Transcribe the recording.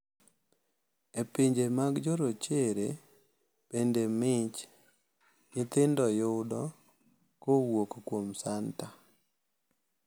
E pinje mag jorochere bende mich nyithindo yudo kowuok kuom santa.